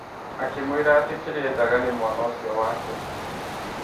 Akĩmwĩra atĩ kĩrĩaendanga nĩ mwana ũcio wake.